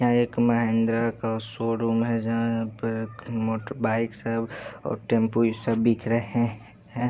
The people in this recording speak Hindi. यहां एक महिंद्रा का शोरूम है जहां पे मोटर बाइक्स है और टेंपू सब बिक रहे है।